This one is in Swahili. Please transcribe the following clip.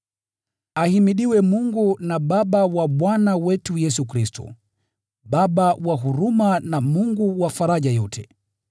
Ahimidiwe Mungu na Baba wa Bwana wetu Yesu Kristo, Baba wa huruma na Mungu wa faraja yote.